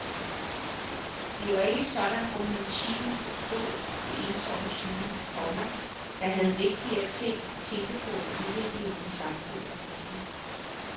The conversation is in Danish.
Det var ikke sådan romantikken forstod det ensomme geni, komma der havde vigtigere ting at tænke på end udviklingen i samfundet. punktum